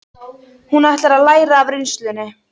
Hún ætlar að læra af reynslunni.